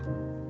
Düz sözümdür.